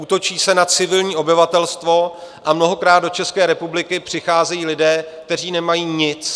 Útočí se na civilní obyvatelstvo a mnohokrát do České republiky přicházejí lidé, kteří nemají nic.